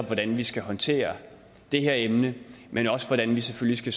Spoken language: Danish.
hvordan vi skal håndtere det her emne men også hvordan vi selvfølgelig